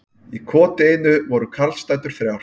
Í koti einu voru karlsdætur þrjár.